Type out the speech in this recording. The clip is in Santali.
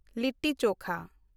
ᱞᱤᱴᱴᱤ ᱪᱳᱠᱷᱟ